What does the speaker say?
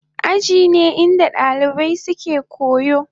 Aji ne inda dalibai suke koyo.